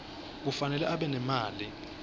kufanele abe nemali